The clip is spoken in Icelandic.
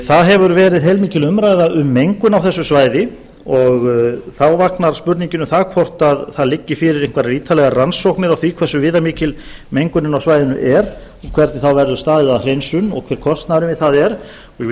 það hefur verið heilmikil umræða um mengun á þessu svæði og þá vaknar spurningin um það hvort fyrir liggi einhverjar ítarlegar rannsóknir á því hversu viðamikil mengunin á svæðinu er og hvernig verður staðið að hreinsun og hver kostnaðurinn við það er ég vil